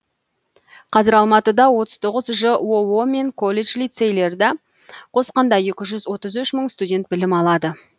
қазір алматыда отыз тоғыз жоо мен колледж лицейлерді қосқанда екі жүз отыз үш мың студент білім алады